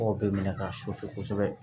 Mɔgɔ bɛ minɛ ka susu kosɛbɛ